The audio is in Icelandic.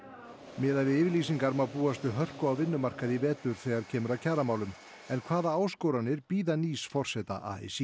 miðað við yfirlýsingar má búast við hörku á vinnumarkaði í vetur þegar kemur að kjaramálum en hvaða áskoranir bíða nýs forseta a s í